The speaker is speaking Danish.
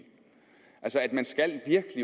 man skal